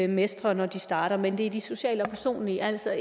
mestrer når de starter men at det er de sociale og personlige altså